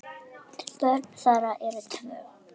Börn þeirra eru tvö.